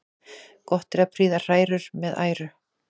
Gott er að prýða hrærur með æru.